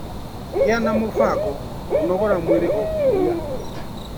Gĩa na mũbango kũnogora mwĩrĩ o kiumia.